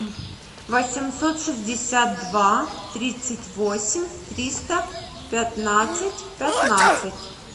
восемьсот шестьдесят два тридцать восемь триста пятнадцать пятнадцать